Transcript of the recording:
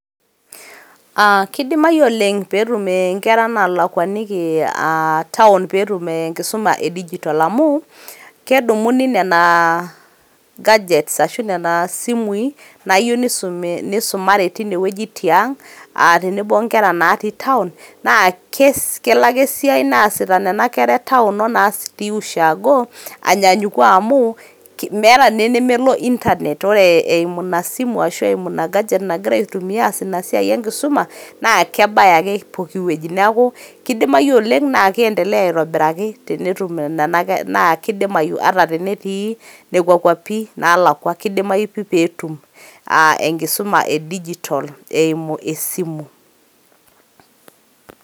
Keidimayu oleng peetum inkerra naalakuaniki town peetum enkisum edigitol amuu kedumuni nena gadgets ashuu nena simui naayeu neisumare teina wejitin aag' tenebo o inkera natii town naa kelo ake siaai naasita nena kerra natii sii town[s] oo natii sii ushagoo anyanyuku amuu meeta naa nemelo internet ore eimu ina simu ashuu eimu ina gadget nagitra aitumiyaa neas ina siaai enkisuma naa kebaya ake pooki weji naaku keidimayu oleng naa keendeleya aitobiraiki tenetum nena kerra naa keidimayu ata tenetii nekwa kwapi naalakwa keidimayu peetum enkisuma e digital eimu esimu.